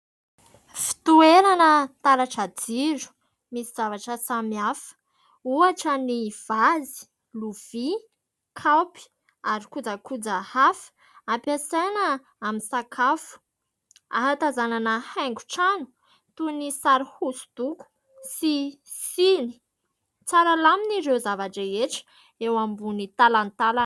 Fitoerana taratra jiro misy zavatra samihafa, ohatra ny : vazy, lovia, kaopy ary kojakoja hafa ampiasaina amin'ny sakafo. Ahatazanana haingon-trano toy ny sary hosodoko sy siny. Tsara lamina ireo zava-drehetra eo ambony talantalana.